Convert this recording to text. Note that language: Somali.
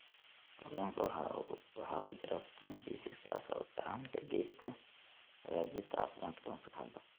Kalluunka waxaa ku jira fitamiin B6 kaas oo gacan ka geysta hagaajinta caafimaadka maskaxda.